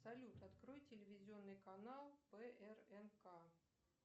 салют открой телевизионный канал прнк